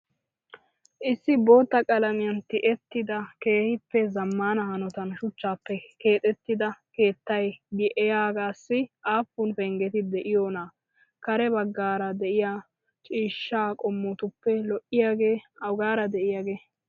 Issi bootta qalamiya tiyettida keehippe zammaana hanotan shuchchaappe keexettida keettay diyaagaassi aappun penggeti de"iyoonaa? Kare baggaara de'iyaa ciishshaaa qommotuppe lo"iyaage awugaara de'iyaagee?